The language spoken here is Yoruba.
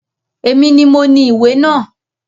Èmi ni moní ìwé náà